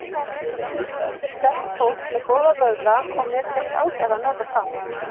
Sundfólk er sterkt fólk með góða vöðva og mér finnst ágætt að nota það.